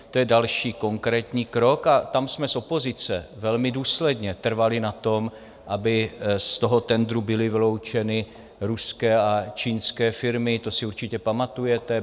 To je další konkrétní krok a tam jsme z opozice velmi důsledně trvali na tom, aby z toho tendru byly vyloučeny ruské a čínské firmy, to si určitě pamatujete.